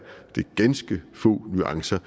ganske få nuancer